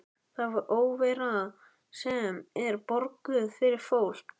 Það er óvera sem er borguð fyrir fólk.